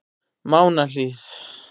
Mánahlíð